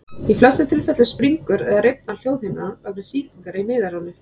Í flestum tilfellum springur eða rifnar hljóðhimnan vegna sýkingar í miðeyranu.